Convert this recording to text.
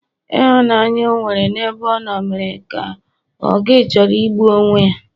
Ịhụnanya o nwere n'ebe ọ nọ mere ka o gi chọrọ igbu onwe ya